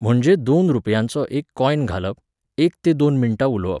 म्हणजें दोन रुपयांचो एक कॉयन घालप, एक ते दोन मिण्टां उलोवप.